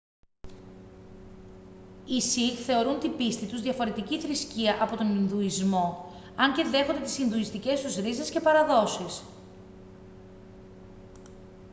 οι σιχ θεωρούν την πίστη τους διαφορετική θρησκεία από τον ινδουισμό αν και δέχονται τις ινδουιστικές τους ρίζες και παραδόσεις